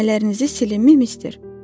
Çəkmələrinizi silimmi mister?